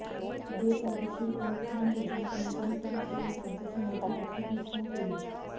बेकायदेशीरपणे खाण लीजांचे नुतनीकरण करून राज्याचे मोठे आर्थिक नुकसान केले